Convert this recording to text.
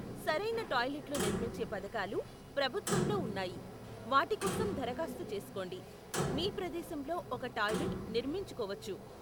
సరైన టాయిలెట్లు నిర్మించే పథకాలు ప్రభుత్వంలో ఉన్నాయి, వాటి కోసం దరఖాస్తు చేసుకోండి, మీ ప్రదేశంలో ఒక టాయిలెట్ నిర్మించుకోవచ్చు.